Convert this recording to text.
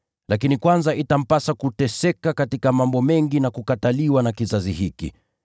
Lakini kwanza itampasa kuteseka katika mambo mengi na kukataliwa na kizazi hiki.